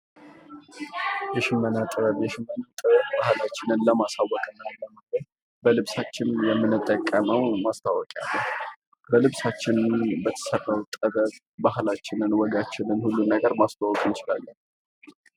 የሽመና ጥበብ:- የሽመና ጥበብ ባህላችንን ለማሳወቅ እና ለማጌጥ በልብሳችን የምንጠቀመዉ ማስታወቂያ ነዉ። በልብሳችን በተሰራዉ ጥበብ ባህላችንን ወጋችንን ሁሉን ነገር ማስተዋወቅ እንችላለን።